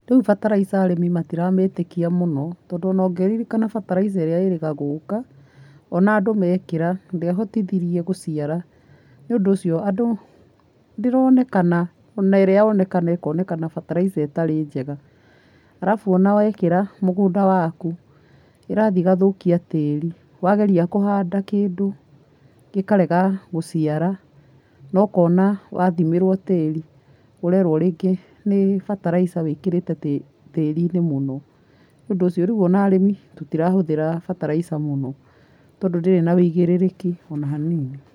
Rĩu bataraitha arĩmi matiramĩtĩkia mũno, tondũ ona ũngĩririkana bataraithaĩrĩa ĩrĩa ĩrĩga gũka, ona andũ mekĩra ndĩahotithirie gũciara. Nĩũndũ ũcio andũ ndĩronekana ona ĩrĩa yonekana ĩkonekana bataraitha ĩtarĩ njega. Arabu ona wekĩra mũgũnda waku ĩrathiĩ ĩgathũkia tĩri, wageria kũhanda kĩndũ gĩkarega gũcira, na ũkona wathimĩrwo tĩri ũrerwo rĩngĩ nĩ bataraitha wĩkĩrĩte tĩriinĩ mũno. Nĩũndũ ũcio rĩu ona arĩmi tũtirahũthĩra bataraitha tondũ ndĩrĩ na wĩigĩrĩrĩki ona hanini.